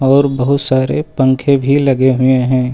और बहुत सारे पंखे भी लगे हुए है।